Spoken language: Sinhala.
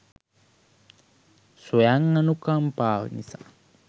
ස්වයං අනුකම්පාව නිසා